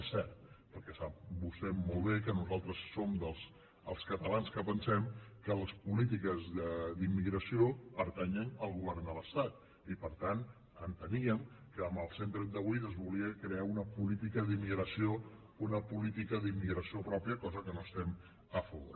és cert perquè sap vostè molt bé que nosaltres som dels catalans que pensem que les polítiques d’immigració pertanyen al govern de l’estat i per tant enteníem que amb el cent i trenta vuit es volia crear una política d’immigració pròpia cosa de la qual no estem a favor